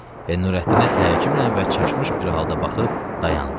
Və Nurəddinə təəccüblə və çaşmış bir halda baxıb dayandı.